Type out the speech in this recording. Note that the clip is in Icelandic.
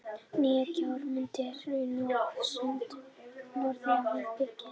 Nýjar gjár mynduðust í hraununum og á söndunum norðan við byggðina.